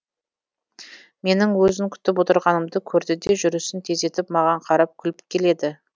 менің өзін күтіп отырғанымды көрдіде жүрісін тездетіп маған қарап күліп келеді